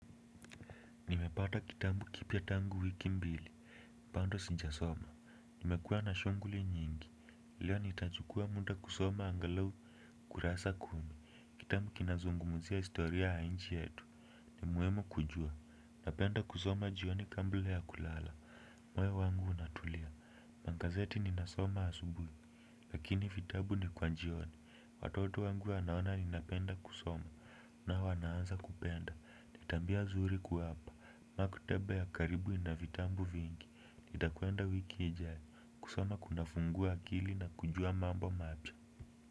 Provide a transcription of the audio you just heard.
Nimepata kitabu kipya tangu wiki mbili, bado sijasoma. Nimekuwa na shuguli nyingi, leo nitachukua muda kusoma angalau kurasa kumi. Kitabu kinazungumuzia historia ya nchi yetu. Ni muhimu kujua, napenda kusoma jioni kabla ya kulala. Moyo wangu unatulia, magazeti ninasoma asubuhi. Lakini vitabu ni kwa jioni, watoto wangu wanaona ninapenda kusoma, na wanaanza kupenda, ni tabia zuri kuwapa. Maktaba ya karibu ina vitabu vingi. Nitakwenda wiki ijayo. Kusoma kunafungua akili na kujua mambo mati.